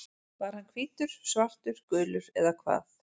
Var hann hvítur, svartur, gulur eða hvað?